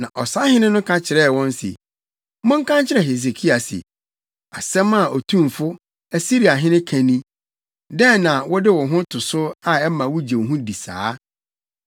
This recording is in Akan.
Na ɔsahene no ka kyerɛɛ wɔn se, “Monka nkyerɛ Hesekia se, “ ‘Asɛm a otumfo, Asiriahene ka ni: Dɛn na wode wo ho to so a ɛma wugye wo ho di saa?